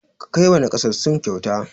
Ka kai wa naƙasassu kyauta!